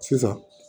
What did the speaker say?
Sisan